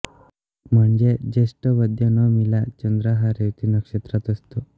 म्हणजे ज्येष्ठ वद्य नवमीला चंद्र हा रेवती नक्षत्रात असतो